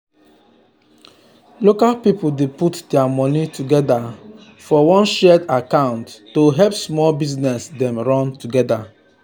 local people dey put their money together um for one shared account to help small business dem run together.